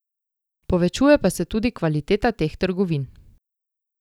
Povečuje pa se tudi kvaliteta teh trgovin.